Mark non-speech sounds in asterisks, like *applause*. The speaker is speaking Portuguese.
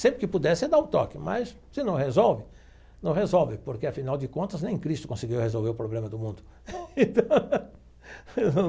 Sempre que puder você dá um toque, mas se não resolve, não resolve, porque afinal de contas nem Cristo conseguiu resolver o problema do mundo. *laughs*